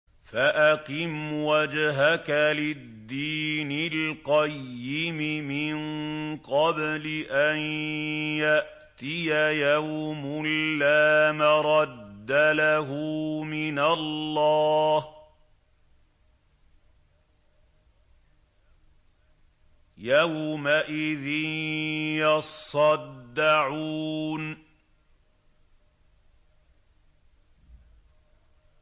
فَأَقِمْ وَجْهَكَ لِلدِّينِ الْقَيِّمِ مِن قَبْلِ أَن يَأْتِيَ يَوْمٌ لَّا مَرَدَّ لَهُ مِنَ اللَّهِ ۖ يَوْمَئِذٍ يَصَّدَّعُونَ